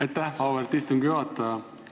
Aitäh, auväärt istungi juhataja!